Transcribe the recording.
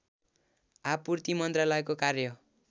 आपूर्ति मन्त्रालयको कार्य